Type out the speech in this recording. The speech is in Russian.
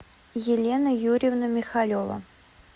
елена юрьевна михалева